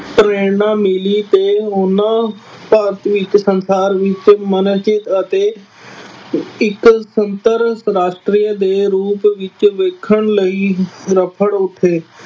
ਪ੍ਰੇਰਣਾ ਮਿਲੀ ਅਤੇ ਉਹਨਾ ਭਾਰਤ ਵਿੱਚ ਸੰਸਾਰ ਵਿਕਸਿਤ ਮਨੋਚਿਤ ਅਤੇ ਇੱਕ ਸਮਤਲ ਰਾਸ਼ਟਰੀਯ ਦੇ ਰੂਪ ਵਿੱਚ ਵੇਖਣ ਲਈ ਉੱਠੇ।